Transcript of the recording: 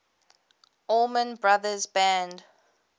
allman brothers band